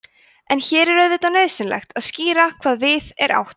en hér er auðvitað nauðsynlegt að skýra hvað við er átt